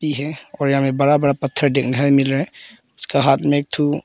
यह कोना में बड़ा बड़ा पत्थर देखने को मिल रहा है उसका हाथ में एक ठु--